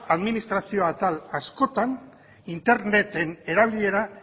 administrazioa atal askotan interneten erabilera